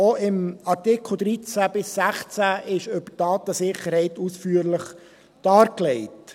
Auch in den Artikeln 13 bis 16 ist die Datensicherheit ausführlich dargelegt.